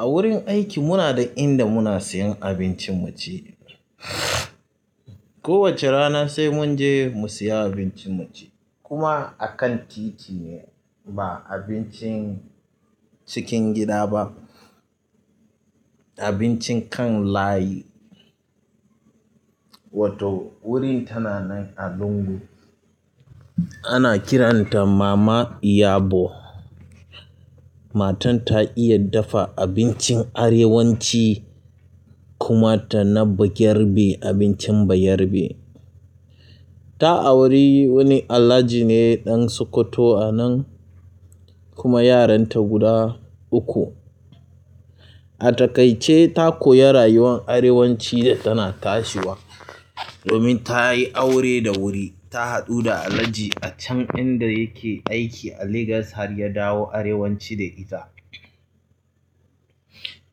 A wurin aiki muna da inda muna siyan abincin mu ci. Ko wace rana sai mun je mu siya abincin mu ci, kuma a kan titi ne ba abincin cikin gida ba. Abincin kan layi. Wato wurin tana nan a lungu. Ana kiranta Mama Iyabo. Matan ta iya dafa abincin arewaci kuma dana bayarbe abincin bayarbe. Ta auri wani Alhaji ne ɗan Sokoto anan, kuma yaranta guda uku. A taikaice ta koyi rayuwan arewaci da tana tashiwa. Domin tayi aure da wuri, ta haɗu da Alhaji acen inda yake aiki a Lagos harya dawo arewaci da ita.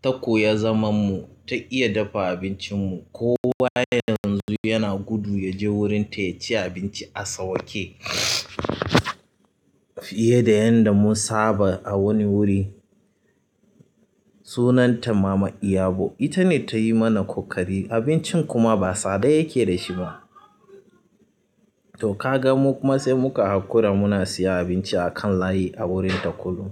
Ta koya zaman mu, ta iya dafa abincin mu. Kowa yanzu yana gudu ya je wurin ta ya ci abinci a sawaƙe. Fiye da yanda mun saba a wani wuri. Sunanta Mama Iyabo, ita ne ta yi mana ƙoƙari abincin kuma ba tsada yake da shi ba. To ka ga mu kuma sai muka haƙura muna siyan abinci a kan layi a wurin ta kullum.